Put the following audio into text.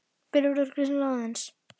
Brynjólfur kveinkar sér aðeins.